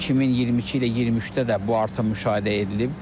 2022 ilə 23-də də bu artım müşahidə edilib.